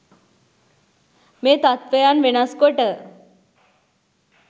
මේ තත්ත්වයන් වෙනස් කොට